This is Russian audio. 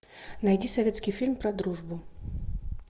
найди советский фильм про дружбу